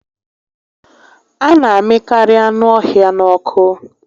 A na amịkarị anụ ọhịa n'ọkụ